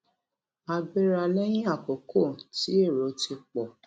a gbéra léyìn àkókò tí èrò ti pò